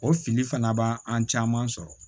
O fili fana b'an caman sɔrɔ